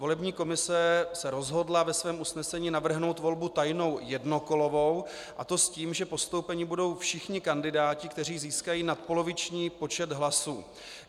Volební komise se rozhodla ve svém usnesení navrhnout volbu tajnou jednokolovou, a to s tím, že postoupeni budou všichni kandidáti, kteří získají nadpoloviční počet hlasů.